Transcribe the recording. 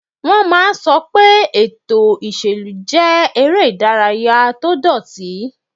Wọ́n máa n sọ pé ètò ìṣèlú jẹ́ eré ìdárayá tó dọ̀ọ̀tí